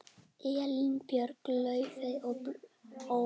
Elín Björk, Laufey og Ólöf.